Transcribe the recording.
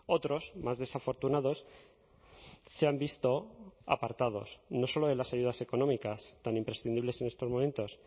otros más desafortunados se han visto apartados no solo de las ayudas económicas tan imprescindibles en estos momentos